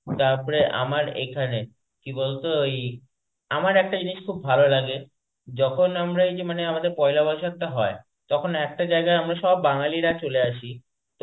তারপরে আমার এখানে কি বলতো ওই আমার একটা জিনিস খুব ভালো লাগে, যখন আমরা এইযে মানে আমাদের পয়লা বৈশাখটা হয়, তখন একটা জায়গায় আমরা সব বাঙালিরা চলে আসি,